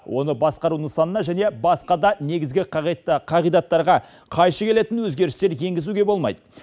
оны басқару нысанына және басқа да негізгі қағидаттарға қайшы келетін өзгерістер енгізуге болмайды